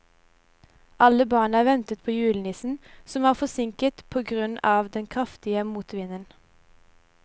Alle barna ventet på julenissen, som var forsinket på grunn av den kraftige motvinden.